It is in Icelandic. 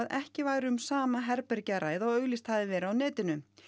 ekki væri um sama herbergi að ræða og auglýst hefði verið á netinu